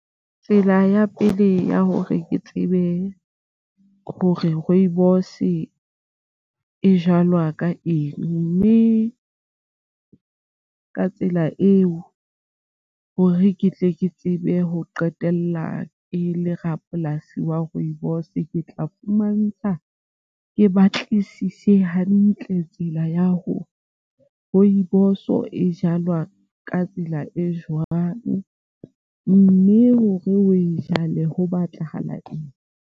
Tsela ya pele ya hore ke tsebe hore rooibos e jalwa ka eng mme ka tsela eo hore ke tle ke tsebe ho qetella ke le rapolasi wa rooibos ke tla fumantsha ke batlisise hantle tsela ya hore rooibos-o e jalwa ka tsela e jwang mme hore o e jwale ho batlahala eng.